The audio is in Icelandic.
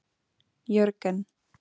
Jörgen